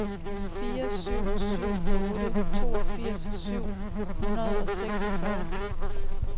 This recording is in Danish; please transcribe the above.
fire syv syv otte toogfirs syv hundrede og seksogfyrre